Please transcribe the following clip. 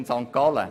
von St. Gallen